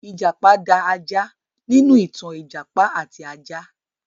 Ìjàpá da ajá nínú ìtàn 'Ìjàpá àti Ajá'.